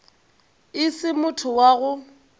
e se motho wa go